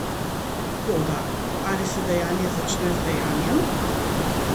Toda, ali se dejanje začne z dejanjem?